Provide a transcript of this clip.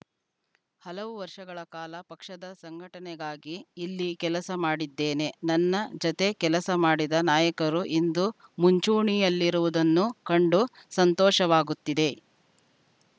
ಹಲವು ವರ್ಷಗಳ ಕಾಲ ಪಕ್ಷದ ಸಂಘಟನೆಗಾಗಿ ಇಲ್ಲಿ ಕೆಲಸ ಮಾಡಿದ್ದೇನೆ ನನ್ನ ಜತೆ ಕೆಲಸ ಮಾಡಿದ ನಾಯಕರು ಇಂದು ಮುಂಚೂಣಿಯಲ್ಲಿರುವುದನ್ನು ಕಂಡು ಸಂತೋಷವಾಗುತ್ತಿದೆ